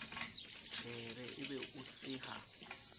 shebe e be o seha